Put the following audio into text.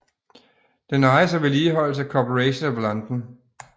Den ejes og vedligeholdes af Corporation of London